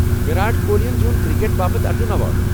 وِراٹ کوہلی ین زیوٗن کرکٹ باپتھ ارجُن ایوارڈ۔